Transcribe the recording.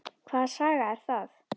Hvaða saga er það?